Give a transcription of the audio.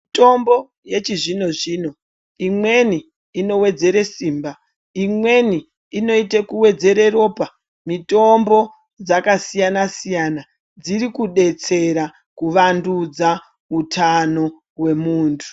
Mutombo yechi zvino zvino imweni ino wedzere simba imweni inoite kuwedzere ropa mitombo dzaka siyana siyana dziri kudetsera ku vandudza utano we muntu.